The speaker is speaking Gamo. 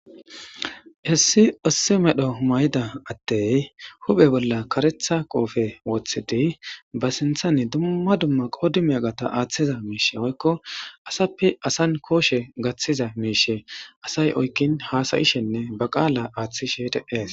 hessi issi medho mayda addey huphe bolla karetha qoofe woththidi ba sinthani dumma dumma qoodi miyagata aaththiza miishe woykko asappe asan kooshe gaththiza miishe asay oykkin hasayishenne ba qaala aaththishete de7es